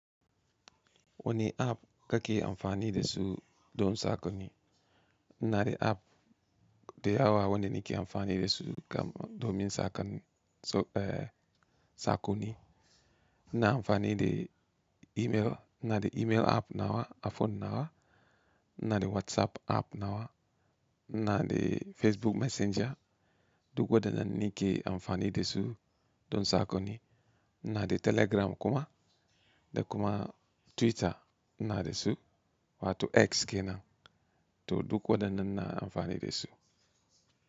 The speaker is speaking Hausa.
Wani app kake amfani da su don saƙonni? Na de app da yawa wanda nake amfani da su don yin sako, eh saƙoni. Na amfani da email, na da email app nawa a phone nawa, ina da WhatsApp app nawa, na da Facebook Messenger. Duk waɗannan nake amfani da su don saƙonni. Na da Telegram kuma, da kuma Twitter na da su wato X ke nan to duk waɗannan ina amfani da su.